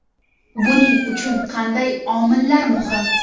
Buning uchun qanday omillar muhim?